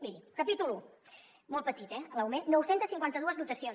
miri capítol un molt petit eh l’augment nou cents i cinquanta dos dotacions